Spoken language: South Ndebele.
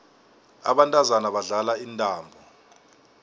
abantazana badlala intambo